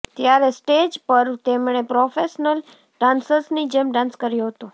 ત્યારે સ્ટેજ પર તેમણે પ્રોફેશનલ ડાન્સર્સની જેમ ડાન્સ કર્યો હતો